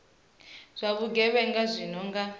zwa vhugevhenga zwi no nga